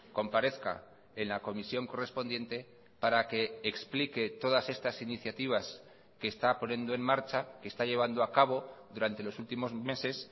comparezca en la comisión correspondiente para que explique todas estas iniciativas que está poniendo en marcha que está llevando a cabo durante los últimos meses